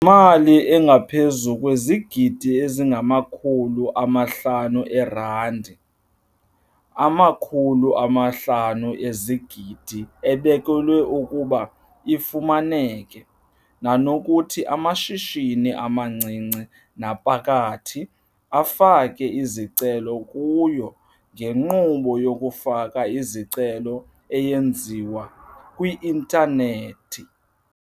Yimali engaphezulu kwezigidi ezingamakhulu amahlanu eerandi, R500 zezigidi, ebekelwe ukuba ifumaneke, nanokuthi amashishini amancinci naphakathi afake izicelo kuyo ngenkqubo yokufaka izicelo eyenziwa kwi-intanethi.